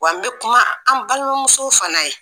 Wa n be kuma an balimamuso fana ye